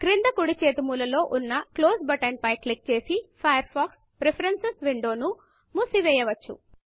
క్రింద కుడి చేతి మూలలో న Closeక్లోజ్ బటన్ క్లిక్ చేసి ఫయర్ ఫాక్స్ Preferencesప్రిఫరేన్సుస్ విండోను మూసివేయవచ్చు